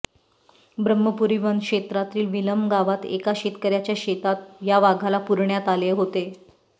ब्रम्हपुरी वनक्षेत्रातील विलम गावात एका शेतकऱ्याच्या शेतात या वाघाला पुरण्यात आले होते